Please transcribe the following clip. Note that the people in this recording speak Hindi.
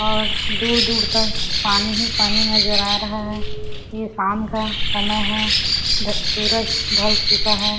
यहाँ दूर दूर तक पानी ही पानी नज़र आ रहा है ये शाम का समय है डक सूरज ढल चुका है।